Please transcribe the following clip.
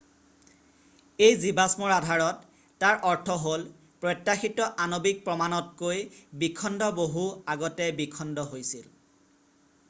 """এই জীৱাষ্মৰ আধাৰত তাৰ অৰ্থ হ'ল প্ৰত্যাশিত আণৱিক প্ৰমাণতকৈ বিখণ্ড বহু আগতে বিখণ্ড হৈছিল।""